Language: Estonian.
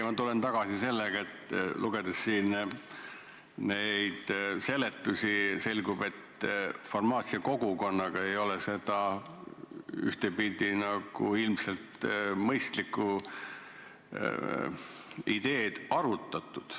Ma tulen ikkagi tagasi selle juurde, et lugedes siin neid seletusi, selgub, et farmaatsiakogukonnaga ei ole seda ühtepidi ilmselt mõistlikku ideed arutatud.